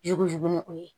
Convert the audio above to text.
Jurujugu nɔgɔ ye